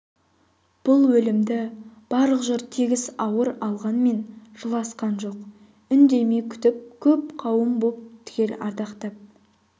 бұл өлімді барлық жұрт тегіс ауыр алғанмен жыласқан жоқ үндемей күтті көп қауым боп түгел ардақтап